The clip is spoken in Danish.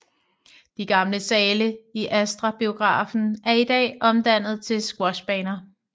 De gamle sale i Astra Biografen er i dag omdannet til Squashbaner